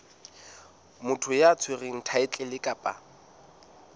motho ya tshwereng thaetlele kapa